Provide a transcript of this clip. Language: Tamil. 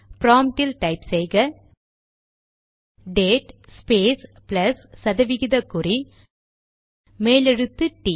ப்ராம்ட்டில் டைப் செய்க டேட் ஸ்பேஸ் ப்ளஸ் சதவிகித குறி மேலெழுத்து டி T